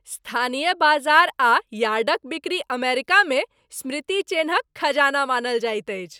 स्थानीय बाजार आ यार्डक बिक्री अमेरिकामे स्मृति चेन्हक खजाना मानल जाइत अछि।